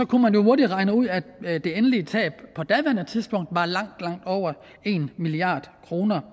kunne man jo hurtigt regne ud at det endelige tab på daværende tidspunkt var langt langt over en milliard kroner